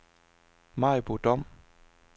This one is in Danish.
Maribo Dom